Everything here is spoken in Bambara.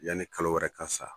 Yanni kalo wɛrɛ ka sa.